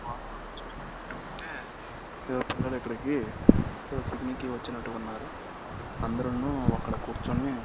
వాతావరణం చూస్తున్నట్టు ఉంటే ఏదో పిల్లలు ఇక్కడికి ఏదో పిక్నిక్ కి వచ్చినట్టు ఉన్నారు అందరును అక్కడ కూర్చుని--